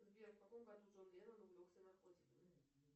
сбер в каком году джон леннон увлекся наркотиками